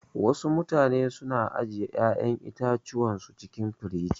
Wasu mutane su na ajiye ƴa'yan itatuwan su cikin firij.